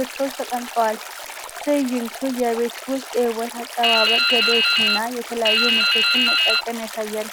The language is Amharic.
ምርቶች ተቀምጠዋል። ትዕይንቱ የቤት ውስጥ የውበት አጠባበቅ ዘዴዎችንና የተለያዩ ምርቶችን መጠቀም ያሳያል።